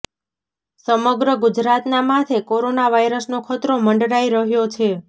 સમગ્ર ગુજરાતના માથે કોરોના વાયરસનો ખતરો મંડરાઈ રહ્યો છે